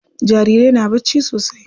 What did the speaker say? Jarirai na bacci sosai.